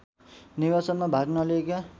निर्वाचनमा भाग नलिएका